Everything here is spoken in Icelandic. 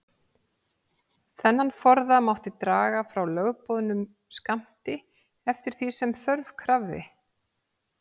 Þennan forða mátti draga frá lögboðnum skammti, eftir því sem þörf krafði.